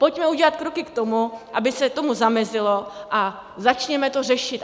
Pojďme udělat kroky k tomu, aby se tomu zamezilo, a začněme to řešit.